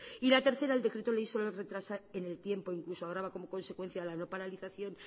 y la tercera el decreto ley solo retrasa en el tiempo incluso ahora va como consecuencia la no paralización